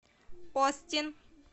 остин